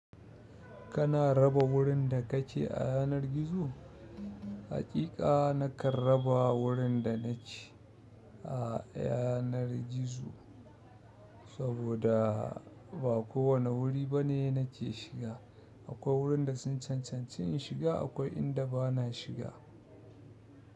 Kana raba wurin da kake a yanar gizo? Haƙiƙa nakan raba wurin da nake a yanar gizo, saboda ba kowane wuri bane nake shiga. Akwai wuraren da sun cancanci in shiga, akwai inda bana shiga.